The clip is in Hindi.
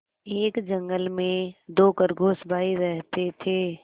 एक जंगल में दो खरगोश भाई रहते थे